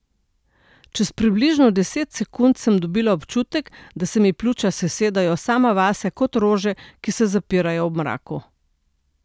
Čez približno deset sekund sem dobila občutek, da se mi pljuča sesedajo sama vase kot rože, ki se zapirajo ob mraku.